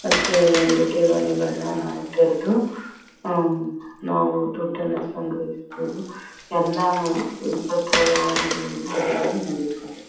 ಮತ್ತೆ ಅಲ್ಲಿ ಠೇವಣಿಗಳನ್ನ ನಾವು ತೆರ್ದು ಹಾ ಹ್ಮ್ಮ್ಮ್ ನಾವು ದುಡ್ಡನ್ನ ಸಂಗ್ರಹಿಸಬೋದು. ಎಲ್ಲಾನು ಎಲ್ಲಾ ಪತ್ರ ವ್ಯವಹಾರ ಇಲ್ಲಿ ನಡೆಯುತ್ತದೆ--